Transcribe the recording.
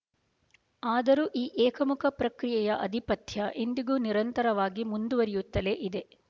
ಆದರೂ ಈ ಏಕಮುಖ ಪ್ರಕ್ರಿಯೆಯ ಆಧಿಪತ್ಯ ಇಂದಿಗೂ ನಿರಂತರವಾಗಿ ಮುಂದುವರಿಯುತ್ತಲೇ ಇದೆ